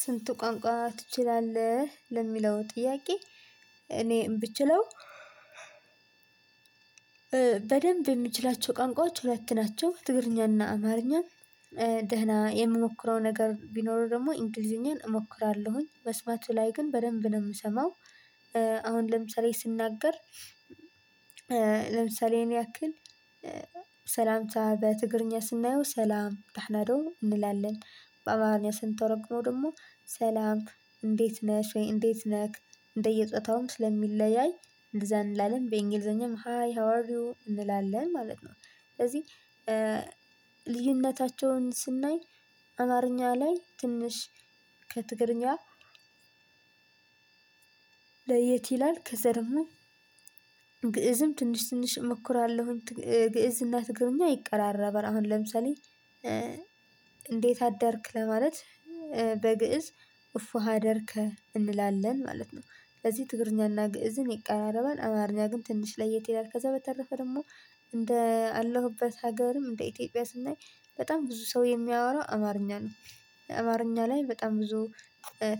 ስንት ቋንቋ ትችላለህ ለሚለው ጥያቄ? እኔ እምችለው በደንብ የምችላቸው ቋንቋዎች ሁለት ናቸው ትግርኛና አማርኛ። ደህና የምሞክረው ነገር ቢኖር ደግሞ እንጊሊዝኛን እሞክራለሁኝ መስማቱ ላይ ግን በደንብ ነው የምሰማው። አሁን ለምሳሌ ስናገር ለምሳሌ ይሄን ያክል ሰላምታ በትግርኛ ስናየው ሰላም ደናዶም። በአማርኛ ስንተረጉመው ደግሞ ሰላም እንዴት ነሽ ወይም እንዴት ነህ እንደየ ፆታውም ስለሚለያይ እንደዛ እንላለን በእንግሊዝኛም ሃይ ሃው አር ዩ እንላለን ማለት ነው። ስለዚህ ልዩነታቸውን ስናይ አማርኛ ላይ ትንሽ ከትግርኛ ለየት ይላል ከዛ ደግሞ ግእዝም ትንሽ ትንሽ እሞክራለሁኝ። ግእዝ እና ትግርኛ ይቀራረባል አሁን ለምሳሌ እንዴት አደርክ ለማለት ግእዝ እፎ ሀደርከ እንላለን ማለት ነው። ስለዚህ ትግርኛና ግእዝን ይቃረባል አማርኛ ግን ትንሽ ለየት ይላል። ከዛ በተረፈ ደግሞ እንደ አለሁበት ሀገርም እንደ ኢትዮጵያ ስናይ በጣም ብዙ ሰው የሚያወራው አማርኛ ነው። አማርኛ ላይ በጣም ብዙ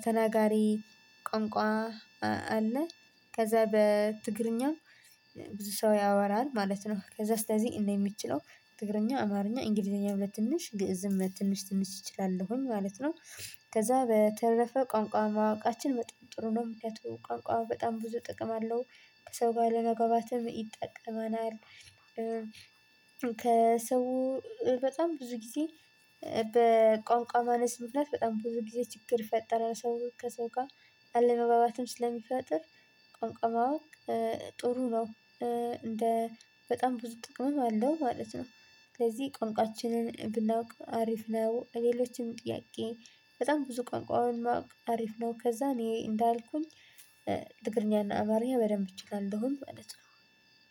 ተናጋሪ ቋንቋ አለ። ከዛ በትግርኛው ብዙ ሰው ያወራል ማለት ነው ከዛ ስለዚህ እንደሚችለው ትግርኛ አማርኛ እንግሊዘኛም ለትንሽ ግእዝም ለትንሽ ትንሽ ይችላለሁኝ ማለት ነው። ከዛ በተረፈ ቋንቋ ማወቃችን በጣም ጥሩ ነው ምክንያቱም ቋንቋ በጣም ብዙ ጥቅም አለው ከሰው ጋር ለመግባባትም ይጠቀማል። ከሰው በጣም ብዙ ጊዜ በቋንቋ ማነስ ምክንያት በጣም ብዙ ጊዜ ችግር ይፈጠራል። ሰው ከሰው ጋር አለመባባትም ስለሚፈጥር ቋንቋ ማወቅ ጥሩ ነው። እንደ በጣም ብዙ ጥቅምም አለው ማለት ነው። ስለዚህ ቋንቋችንን ብናውቅ አሪፍ ነው። ሌሎችም ጥያቄ በጣም ብዙ ቋንቋውን ማወቅ አሪፍ ነው። ከዛ እኔ እንዳልኩኝ ትግርኛና አማርኛ በደንብ እችላለሁኝ ማለት ነው።